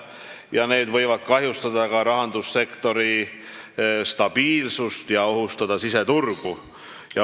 Sellised asjad võivad kahjustada ka rahandussektori stabiilsust ja ohustada siseturgu.